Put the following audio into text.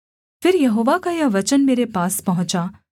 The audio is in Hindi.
फिर यहोवा का यह वचन मेरे पास पहुँचा